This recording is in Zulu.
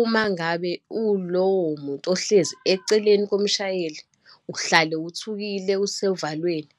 uma ngabe uwulowo muntu ohlezi eceleni komshayeli, uhlale uthukile, usevalweni.